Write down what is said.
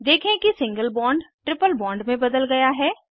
देखें कि single bond triple bond में बदल गया है